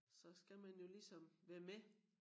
Så skal man jo ligesom være med